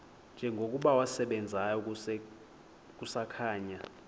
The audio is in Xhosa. njengokuba wasebenzayo kusakhanya